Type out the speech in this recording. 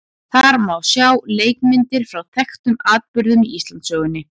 Þar má sjá leikmyndir frá þekktum atburðum í Íslandssögunni.